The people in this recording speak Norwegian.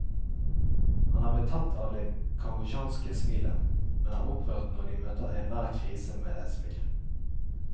Han er betatt av det kambodsjanske smilet, men er opprørt når de møter enhver krise med et smil.